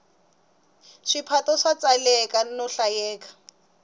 swiphato swa tsaleka no hlayeka